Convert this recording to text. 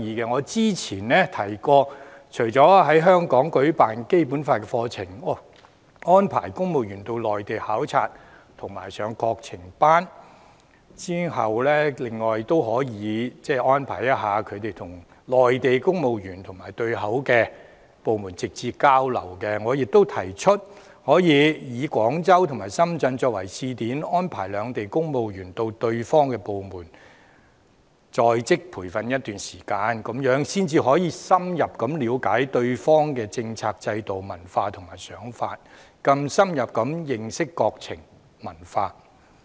我早前曾提到，除了在香港舉辦《基本法》課程、安排公務員往內地考察及參加國情班外，亦可以安排公務員與內地公務員及對口部門直接交流；我亦提出可以廣州和深圳作為試點，安排兩地公務員到對方的部門進行在職培訓一段時間，這樣才能深入了解對方的政策、制度、文化和想法，更深入認識國情文化。